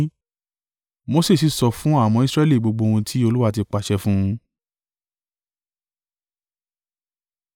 Mose sì sọ fún àwọn ọmọ Israẹli gbogbo ohun tí Olúwa ti pàṣẹ fún un.